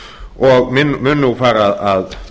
og mun nú fara að